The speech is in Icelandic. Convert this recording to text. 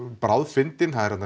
bráðfyndin